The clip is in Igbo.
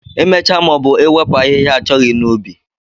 Imecha maọbu iwepu ahịhịa achọghị n'ubi